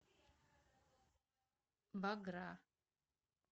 богра